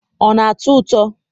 ọ na-atọ ụtọ?